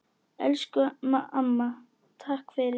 Elsku amma, takk fyrir mig.